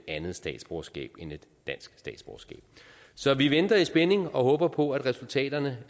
andet statsborgerskab end et dansk statsborgerskab så vi venter i spænding og håber på at resultaterne